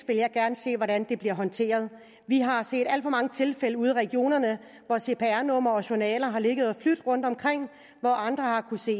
vil jeg gerne se hvordan det bliver håndteret vi har set alt for mange tilfælde ude i regionerne hvor cpr numre og journaler har ligget og flydt rundtomkring hvor andre har kunnet se